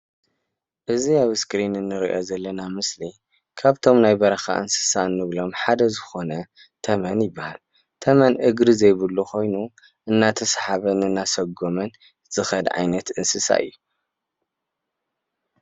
እዚ ኣብ ስክሪን እንርእዮ ዘለና ምስሊ ካብቶም ናይ በረኻ እንስሳ ንብሎም ሓደ ዝኾነ ተመን ይበሃል። ተመን እግሪ ዘይብሉ ኮይኑ እናተስሓበን እናሰጎምን ዝኸድ ዓይነት እንስሳ እዩ።